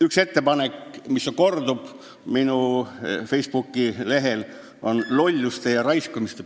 Üks ettepanek, mis kordub minu Facebooki lehel, on nende lolluste ja raiskamise ...